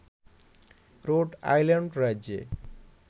road Island রাজ্যে